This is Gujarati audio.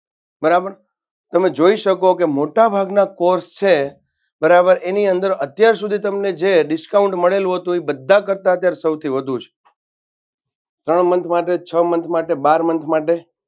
બરાબર તમે જોઈએ શકો કે મોટા ભાગના course છે બારરાબર એની અંદર અત્યાર સુધી તમને જે discount મળેલુ હતું એ બધા કરતાં અત્યારે સૌથી વધુ છે. ત્રણ month માટે છ month માટે બાર Month માટે